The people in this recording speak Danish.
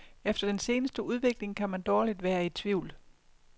Efter den seneste udvikling kan man dårligt være i tvivl.